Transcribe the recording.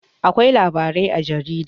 Akwai labarai a jarida.